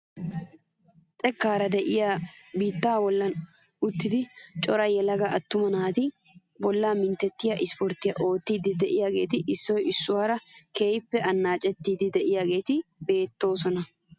Xekkaara de'iyaa biittaa bollan uttida cora yelaga attuma naati bollaa mintettiyaa isporttiyaa oottiidi de'iyaageti issoy issuwaara keehippe annaacettidi de'iyaageti beettoosona!